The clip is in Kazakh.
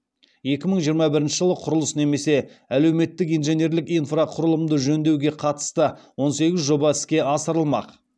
екі мың жиырма бірінші жылы құрылыс немесе әлеуметтік инженерлік инфрақұрылымды жөндеуге қатысты он сегіз жоба іске асырылмақ